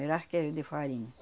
Era arqueiro de farinha.